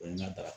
O ye n ka daga